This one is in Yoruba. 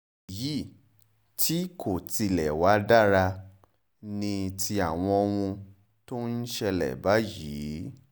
èyí tí kò tilẹ̀ wàá dára ni ti àwọn ohun tó ń ṣẹlẹ̀ báyìí